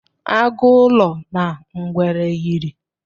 Agụ ụlọ na ngwere yịrị